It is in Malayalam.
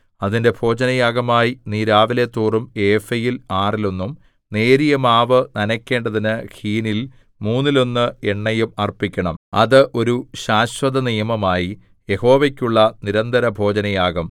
അതിന്റെ ഭോജനയാഗമായി നീ രാവിലെതോറും ഏഫയിൽ ആറിലൊന്നും നേരിയ മാവു നനയ്ക്കേണ്ടതിന് ഹീനിൽ മൂന്നിലൊന്ന് എണ്ണയും അർപ്പിക്കണം അത് ഒരു ശാശ്വതനിയമമായി യഹോവയ്ക്കുള്ള നിരന്തരഭോജനയാഗം